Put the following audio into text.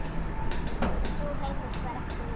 Sú heimild var ekki nýtt.